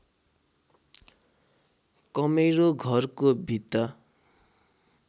कमेरो घरको भित्ता